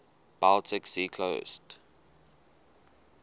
baltic sea coast